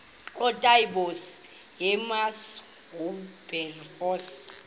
ootaaibos hermanus oowilberforce